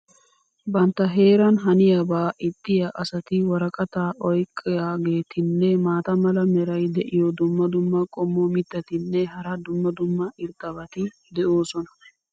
bantta heeran haniyaabaa ixxiya asati woraqataa oyqaageetinne maata mala meray diyo dumma dumma qommo mitattinne hara dumma dumma irxxabati de'oosona.